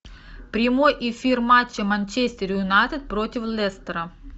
прямой эфир матча манчестер юнайтед против лестера